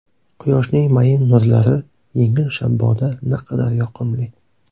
Quyoshning mayin nurlari, yengil shabboda naqadar yoqimli.